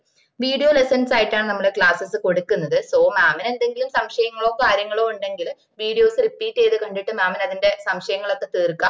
videolessons ആയിട്ടാണ് നമ്മള classess കൊടുക്കുന്നത് somam ന് എന്തെങ്കിലും സംശയങ്ങളോ കാര്യങ്ങളോ ഉണ്ടെങ്കില് videos repeat ചെയ്ത് കണ്ടിട്ട് mam ന് അതിന്റെയ് സംശയങ്ങള് ഒക്കെ തീർക്കാം